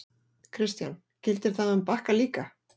Kristján: Gildir það um Bakka líka?